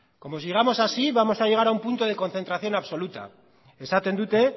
como sigamos así vamos a llegar a un punto de concentración absoluta esaten dute